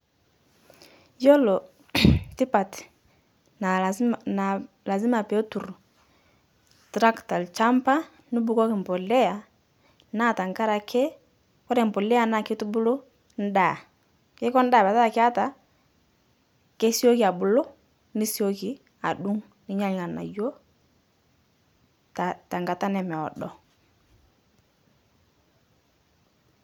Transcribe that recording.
Iyolo tipat naa lazima petur tractor lchampa nubukoki mbulea naa tankarake kore mbulea naa keitubulu ndaa keiko ndaa petaa keata kesioki abulu nesoki adung' ninya lganayo tankata nemeodo